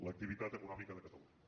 l’activitat econòmica de catalunya